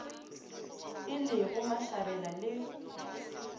e le go mashabela le